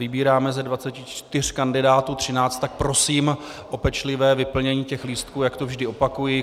Vybíráme ze 24 kandidátů 13, tak prosím o pečlivé vyplnění těch lístků, jak to vždy opakuji.